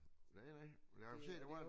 Nej nej men jeg kunne se der var en